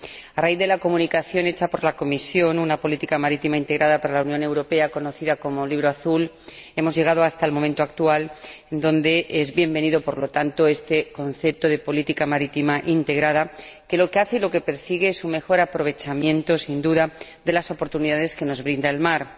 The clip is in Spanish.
A raíz de la comunicación hecha por la Comisión Una política marítima integrada para la Unión Europea, conocida como Libro Azul, hemos llegado hasta el momento actual, donde es bienvenido, por lo tanto, este concepto de política marítima integrada, que lo que hace y lo que persigue es un mejor aprovechamiento, sin duda, de las oportunidades que nos brinda el mar.